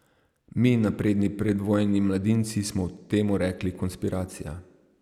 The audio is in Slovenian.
Mi, napredni predvojni mladinci, smo temu rekli konspiracija.